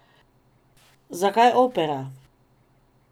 Zakaj opera?